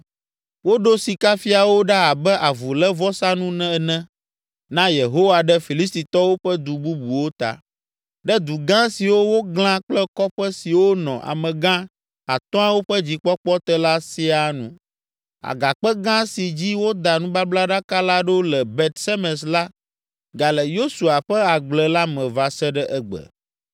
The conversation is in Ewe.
Woɖo sikafiawo ɖa abe avulévɔsanu ene na Yehowa ɖe Filistitɔwo ƒe du bubuwo ta, ɖe du gã siwo woglã kple kɔƒe siwo nɔ amegã atɔ̃awo ƒe dzikpɔkpɔ te la siaa nu. Agakpe gã si dzi woda nubablaɖaka la ɖo le Bet Semes la gale Yosua ƒe agble la me va se ɖe egbe.